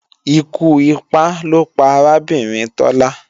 Ikú ipá ló pa arábìnrin Tọ́lá